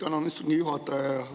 Tänan, istungi juhataja!